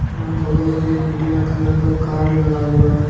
यहां बगल में एक नीला कलर का कार लगा हुआ है।